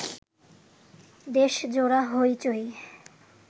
দেশজোড়া হইচই